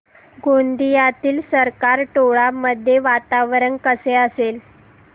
गोंदियातील सरकारटोला मध्ये वातावरण कसे असेल